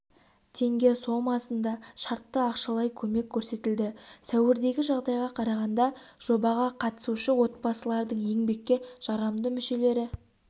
теңге сомасында шартты ақшалай көмек көрсетілді сәуірдегі жағдайға қарағанда жобаға қатысушы отбасылардың еңбекке жарамды мүшелері